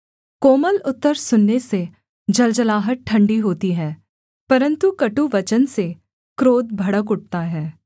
कोमल उत्तर सुनने से जलजलाहट ठण्डी होती है परन्तु कटुवचन से क्रोध भड़क उठता है